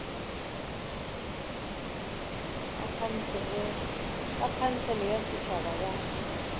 ba khansele ya setšhaba ya